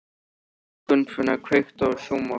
Gunnfinna, kveiktu á sjónvarpinu.